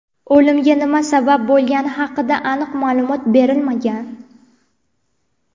O‘limga nima sabab bo‘lgani haqida aniq ma’lumot berilmagan.